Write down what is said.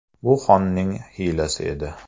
Bu xonning hiylasi edi.